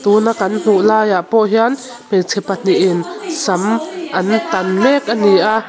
tuna kan hmu laiah pawh hian hmeichhe pahnihin sam an tan mek a ni a.